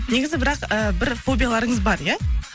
негізі бірақ ы бір фобияларыңыз бар иә